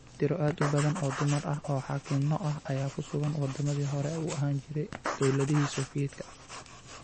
Tiro aad u badan oo dumar ah oo xaakinno ah ayaa ku sugan wadamadii hore u ahaan jiray dawladihii Soofiyeedka.